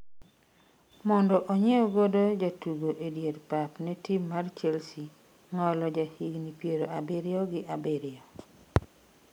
mondo onyiew godo jatugo e dier pap ne tim mar Chelsea ,Ng'olo ja higni piero abiriyo gi abiriyo